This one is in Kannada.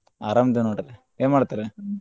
ಅರಾಮ್ ಅದೇವ್ ನೋಡ್ರಿ ಏನ್ ಮಾಡಾತೇರಿ?